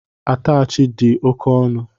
Atachị di oke ọnụ